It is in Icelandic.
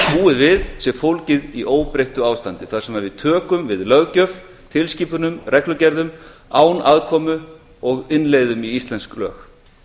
búið við sé fólgið í óbreyttu ástandi þar sem við tökum við löggjöf tilskipunum reglugerðum án aðkomu og innleiðum í íslensk lög